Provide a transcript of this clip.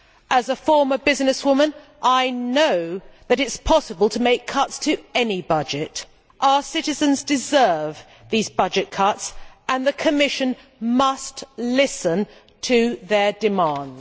As a former businesswoman I know that it is possible to make cuts to any budget. Our citizens deserve these budget cuts and the Commission must listen to their demands.